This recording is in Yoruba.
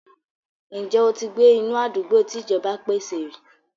Ǹjẹ́ o ti gbé inú àdúgbò tí ìjọba pèsè rí?